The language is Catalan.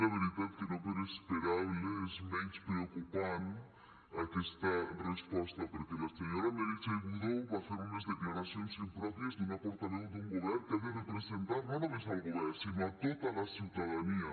la veritat és que no per esperable és menys preocupant aquesta resposta perquè la senyora meritxell budó va fer unes declaracions impròpies d’una portaveu d’un govern que ha de representar no només el govern sinó tota la ciutadania